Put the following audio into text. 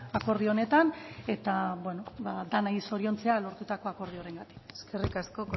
akordio honetan eta denoi zoriontzea lortutako akordiorengatik eskerrik asko